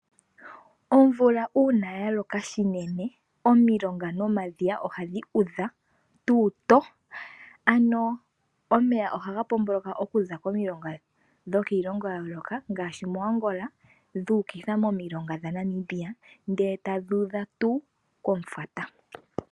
Omvula uuna ya loka shinene omilonga nomadhiya ohadhi udha pombanda ano omeya ohaga pomboloka okuza komilonga dhokiilongo ya yooloka ngaashi moAngola dhu ukitha momilonga dhaNamibia ndele tadhi udha pombanda.